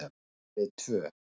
Bara við tvö.